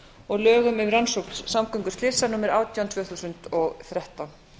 og lögum um rannsókn samgönguslysa númer átján tvö þúsund og þrettán